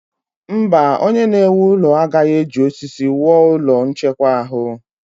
Mba, onye na-ewu ụlọ agaghị eji osisi wuo ụlọ nchekwa ahụ.